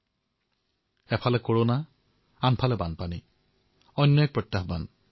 অৰ্থাৎ এফালে কৰোনা আৰু আনটো ফালে আন এক প্ৰত্যাহ্বান